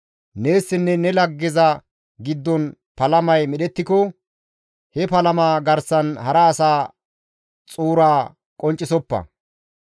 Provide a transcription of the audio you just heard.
Neessinne ne laggezas giddon palamay medhettiko, he palama garsan hara asa xuura qonccisoppa.